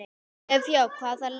Ef já þá hvaða lið?